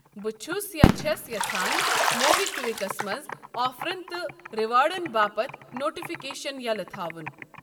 بہٕ چھَُس یاچھَس یژھان موبِکوِکس منٛز آفرَن تہٕ ریوارڑَن باپتھ نوٹفکیشن یَلہٕ تھاوُن